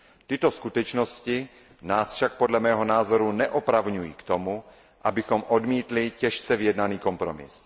Tyto skutečnosti nás však podle mého názoru neopravňují k tomu, abychom odmítli těžce vyjednaný kompromis.